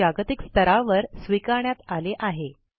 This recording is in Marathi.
हे जागतिक स्तरावर स्वीकारण्यात आले आहे